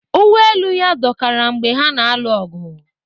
Uwe elu ya dọkara mgbe ha na-alụ ọgụ